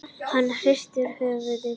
Hann hristir höfuðið brosandi.